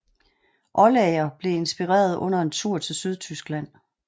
Oldager blev inspireret under en tur til Sydtyskland